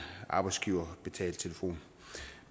arbejdsgiverbetalt telefon